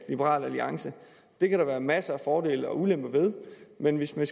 liberal alliance det kan der være masser af fordele og ulemper ved men hvis vi